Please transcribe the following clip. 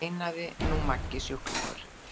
veinaði nú Maggi sjúklingur.